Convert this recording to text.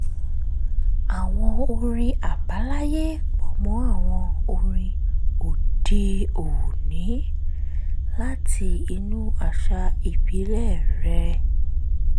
àwọn orin àbáláyé pọ̀ mọ́ àwọn orin òde-òní láti inú àṣà ìbílẹ̀ rẹ̀